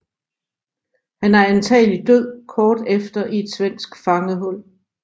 Han er antagelig død kort efter i et svensk fangehul